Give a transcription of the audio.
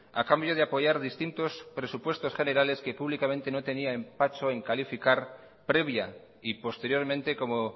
a cambio de apoyar distintos presupuestos generales que públicamente no tenía empacho en calificar previa y posteriormente como